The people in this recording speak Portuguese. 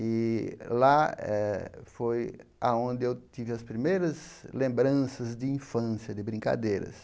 E lá eh foi aonde eu tive as primeiras lembranças de infância, de brincadeiras.